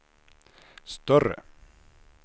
större